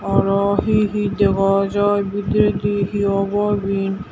arow he he dega jaai bidiredi he bow eben.